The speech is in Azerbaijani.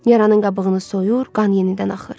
Yaranın qabığını soyur, qan yenidən axır.